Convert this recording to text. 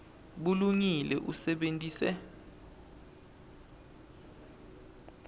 bulungile usebenitse